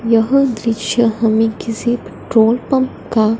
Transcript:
यह दृश्य हमें किसी पेट्रोल पंप का--